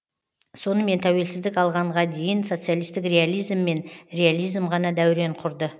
сонымен тәуелсіздік алғанға дейін социалистік реализм мен реализм ғана дәурен құрды